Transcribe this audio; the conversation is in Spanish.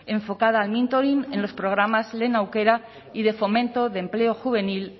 enfocada al mentoring en los programas lehen aukera y de fomento de empleo juvenil